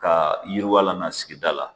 Ka yiriwala n'a sigida la